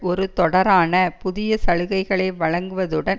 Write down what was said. ஒரு தொடரான புதிய சலுகைகளை வழங்குவதுடன்